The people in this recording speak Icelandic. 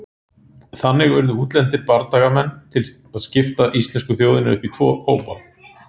Þannig urðu útlendir bardagamenn til að skipta íslensku þjóðinni upp í tvo hópa.